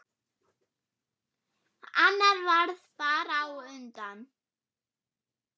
Annar varð bara á undan.